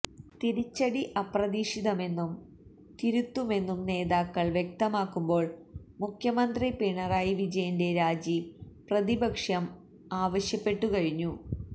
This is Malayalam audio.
തിരിച്ചടി അപ്രതീക്ഷിതമെന്നും തിരുത്തുമെന്നും നേതാക്കൾ വ്യക്തമാക്കുമ്പോൾ മുഖ്യമന്ത്രി പിണറായി വിജയന്റെ രാജി പ്രതിപക്ഷം ആവശ്യപ്പെട്ടു കഴിഞ്ഞു